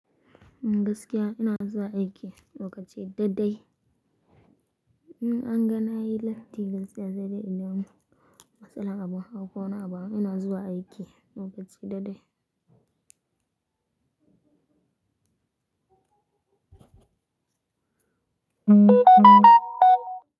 Gaskiya ina zuwa aiki lokaci dadai. In anga na yi latti gaskiya sai dai idan matsala abun ko wani abu. Ina zuwa aiki lokaci dadai.